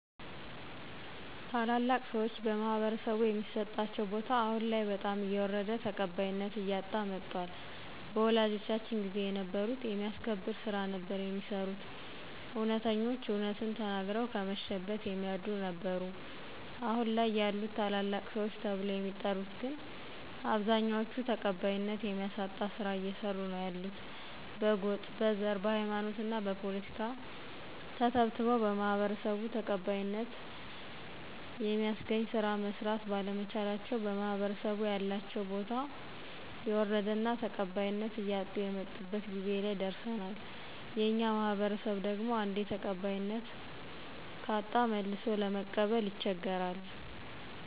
ታላላቅ ሰዎች በማህበረሰቡ የሚሰጣቸው ቦታ አሁን ላይ በጣም እየወረደ ተቀባይነት እያጣ መጧል በወላጆቻችን ጊዜ የነበሩት የሚያስከብር ስራ ነበር የሚሰሩት እውነተኞች እውነትን ተናግረው ከመሸበት የሚያድሩ ነበሩ አሁን ላይ ያሉት ታላላቅ ሰዎች ተብለው የሚጠሪት ግን አብዛኛዎቹ ተቀባይነት የሚያሳጣ ስራ እየሰሩ ነው ያሉት በጎጥ: በዘር: በሃይማኖትና በፖለቲካ ተተብትበው በማህበረሰቡ ተቀባይነተ የሚያስገኝ ስራ መስራት ባለመቻላቸው በማህበረሰቡ ያላቸው ቦታ የወረደና ተቀባይነት እያጡ የመጡበት ጊዜ ላይ ደረሰናል የኛ ማህበረሰብ ደግሞ አንዴ ተቀባይነት ካሳጣ መልሶ ለመቀበል ይቸገራል።